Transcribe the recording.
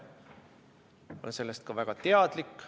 Ma olen sellest ka väga teadlik.